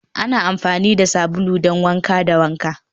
ana amfani da sabulu don wanka da wanka